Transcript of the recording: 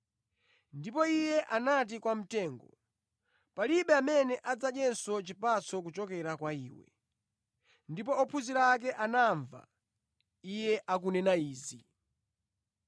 Ndipo Iye anati kwa mtengo, “Palibe amene adzadyenso chipatso kuchokera kwa iwe.” Ndipo ophunzira ake anamva Iye akunena izi.